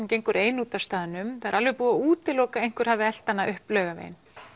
gengur ein útaf staðnum það er alveg búið að útiloka að einhver hafi elt hana upp Laugaveginn